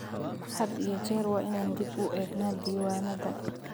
Had iyo jeer waa inaan dib u eegnaa diiwaanada.